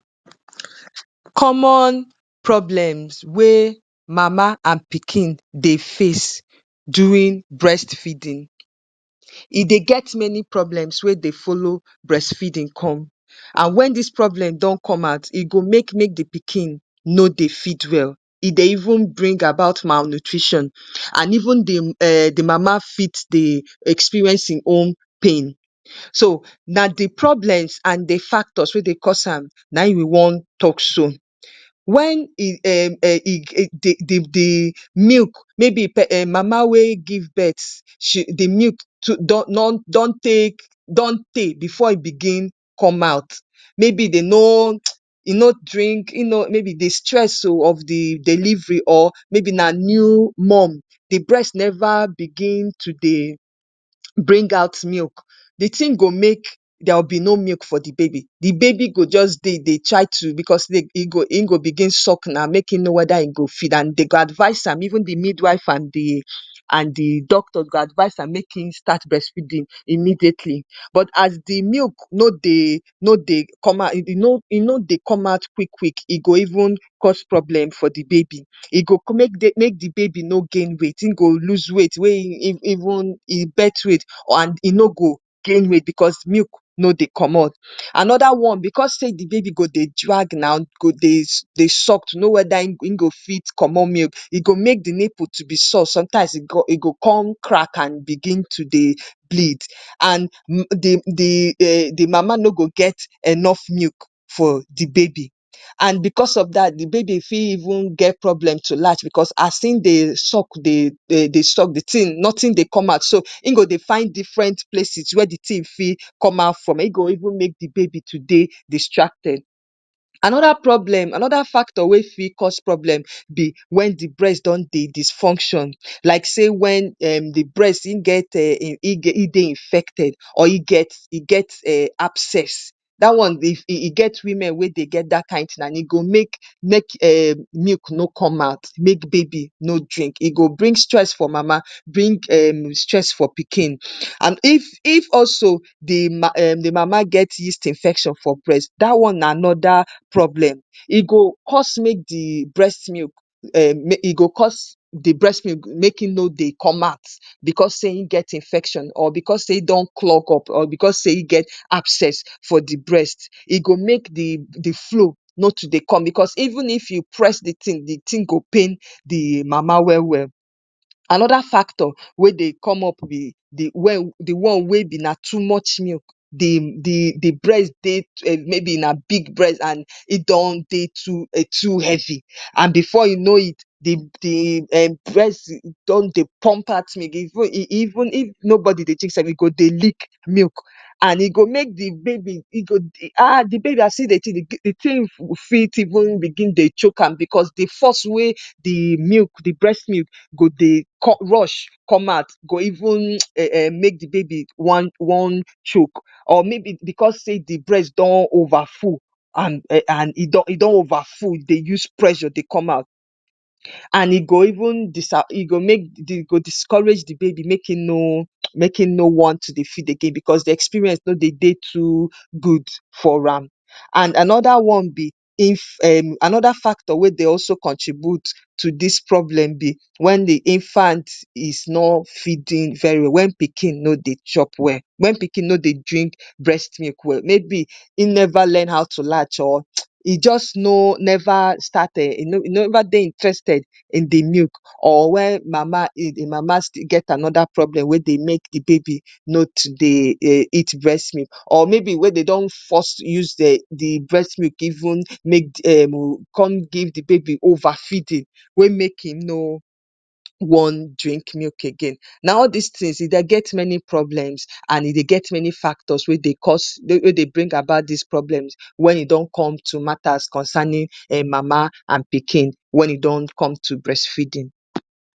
‎comon problems wey mama and pikin dey face during breast feeding e dey get many problems wey dey folo breastfeeding com and wen dis problem don com out e go make make di pikin no dey fit well e dey even bring about mnutrition and even dey di mama fit dey experience hin own pain so na di problems and de factors wey dey cause am naim we wan tok so, wen e um um dey de de milk mayb mama we give birth shi de mild don take don don don teey before e begin come out maybe dey noo e no drink mayb de stress o of de delivery or maybe na new mom de bress neva begin to dey bring out milk de tin go make there will be no milk for de baby de baby go jus dey de try to bcos in go begin suck na make in no weda in go fit and dey go advise am even de midwife and de doctor dey go advise am make in start bress feeding immediately but as de milk no dey no dey e no dey come out quick quick e go even cos problem for de baby e go make de baby no gain weight in go loose weight wein even in birth weight and e no go gain weight bcos milk no dey comot. Anoda one bcos say de baby go dey drag am e go dey suck to no weda e go comot milk, e go drag de nipple to be sore sometimes e go come crack and begin to dey bleed and de d um mama no go get enough milk for de baby an bcos of dat de baby fi even get problem to lash bcos as in dey suck de tin notin dey come out so in go dey find different places were de tin fit come out from in go even make de baby to dey distracted, anoda problem anoda factor wen fit cos problem na wen de bress don dey disfunction like say wen um de bress in dey in dey infected or e get abscess da one e e e get women we dey get dat kin tin and e go make um milk no come out make baby no drink e go bring stress for mama bring um stress for pikin and if also de mama get yeast infection for breast da one na anoda problem, e go co make de breast milk e go cos de breast milk make in no dey come out bcos say in get infection or bcos say in don clog up at in get abcess for de breast e go make de flow not to dey come out bcos even if u press de tin de tin go pain de mama welwel. Anoda factor wen dey come up be de one wen dey come up na too much milk dey bress dey um maybe na big bress and in don dey too heavy and before u no it de bress don dey pump out milk and if nobody dey e go dey leak milk e go dey make de baby as e dey see de milk e fit even begin dey choke am bcos de for e we de bress milk go dey come rush come out e go even make de baby want choke bcos say de bress don overfull an um an um e don overfull e dey use pressure dey come out and e go discourage de baby make in no make in no want to dey suck again bcos de experience no dey de too good for ram an anoda one b if um anoda factor wen dey also contribute to dis problem be when de infant is not feeding very well wen pikin no dey chop well wen pikin no dey drink breast milk well in never learn how to lash or e jus no never start um e never dey interested in de milk or wen mama still mama get anoda problem we dey make de baby no too dey eat breast milk mayb wen dey don force use de breast milk con give de baby overfeeding wen make de baby make in no wan drink milk again, na all these tins e dey get many problems and e dey get many factors we dey cos we dey being about this problems wen e don come to matters concerning mama and pikin wen e don come to breast feeding.